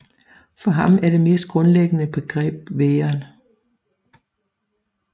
For ham er det mest grundlæggende begreb væren